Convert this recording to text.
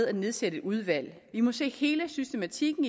at nedsætte et udvalg vi må se hele systematikken